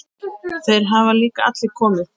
Þeir hafa líka allir komið.